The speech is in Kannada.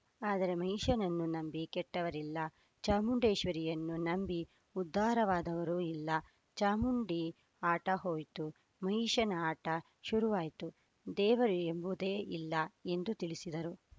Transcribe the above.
ಆದರೆ ಮಹಿಷನನ್ನು ನಂಬಿಕೆ ಕೆಟ್ಟವರಿಲ್ಲ ಚಾಮುಂಡೇಶ್ವರಿಯನ್ನು ನಂಬಿ ಉದ್ಧಾರವಾದವರು ಇಲ್ಲ ಚಾಮುಂಡಿ ಆಟ ಹೋಯ್ತು ಮಹಿಷನ ಆಟ ಶುರುವಾಯಿತು ದೇವರು ಎಂಬುದೇ ಇಲ್ಲ ಎಂದು ತಿಳಿಸಿದರು